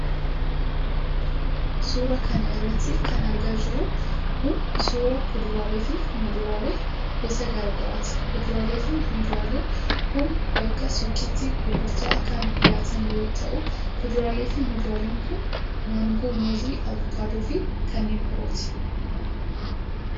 Suura kana irratti kan argaa jirru kun, suura kuduraalee fi muduraalee gosa garaa garaati. Kuduraalee fi muduraaleen kun, bakka suuqiitti gurgurtaaf kan dhiyaatan yoo ta'u, kuduraalee fi muduraaleen kun: maangoo, muuzii ,avokaadoo fi kanneen birooti.